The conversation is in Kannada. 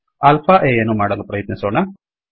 alpha ಆ ಯನ್ನು ಮಾಡಲು ಪ್ರಯತ್ನಿಸೊಣ